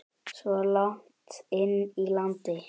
Svo langt inn í landi?